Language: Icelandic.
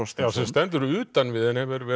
já sem stendur utan við en hefur verið